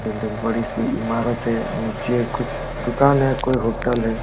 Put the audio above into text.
डग डग बड़ी सी ईमारत है। नीचे कुछ दुकान है कोई होटल है।